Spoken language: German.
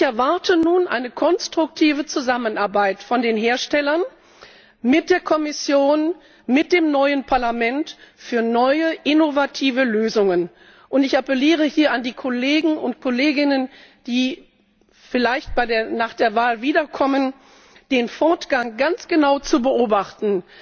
Ich erwarte nun eine konstruktive Zusammenarbeit von den Herstellern mit der Kommission, mit dem neuen Parlament, um neue innovative Lösungen zu finden. Und ich appelliere hier an die Kollegen und Kolleginnen, die vielleicht nach der Wahl wiederkommen, den Fortgang ganz genau zu beobachten,